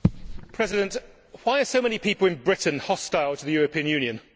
Mr President, why are so many people in Britain hostile to the European Union?